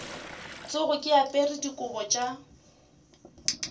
tsoge ke apere dikobo tša